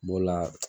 B'o la